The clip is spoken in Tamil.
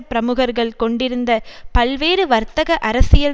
பிரமுகர்கள் கொண்டிருந்த பல்வேறு வர்த்தக அரசியல்